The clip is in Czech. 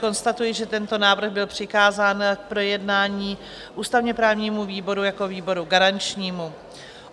Konstatuji, že tento návrh byl přikázán k projednání ústavně-právnímu výboru jako výboru garančnímu.